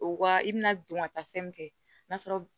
O waa i bɛna don ka taa fɛn min kɛ n'a sɔrɔ